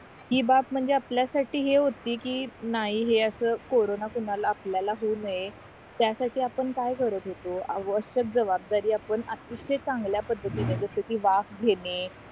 हि बाब म्हणजे आपल्य्साठी हे होती कि नाय हे असं कोरोना कोणाला आपल्याला होऊ नये त्यासाठी आपण काय करत होतो आवश्यक जबाबदारी आपण अतिशय चांगल्या पद्धतिने जस कि वाफ घेणे